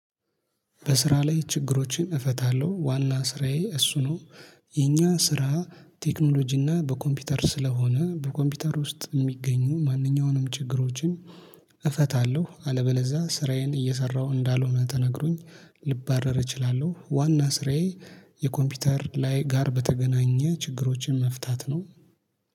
በስራ ላይ ችግሮችን እፈታለሁ ዋና ስራዬ እሱ ነው። የኛ ስራ ቴክኖሎጂ እና በኮምፒውተር ስለሆነ በኮምፒውተር ውስጥ የሚገኙ ማንኛውንም ችግሮችን። እፈታለሁ አለበለዛ ስራዬን እየሰራሁ እንዳልሆነ ተነግሮኝ ልባረር እችላለሁ። ዋና ስራዬ የኮምፒውተር ላይ ጋር በተገናኘ ችግሮችን መፍታት ነው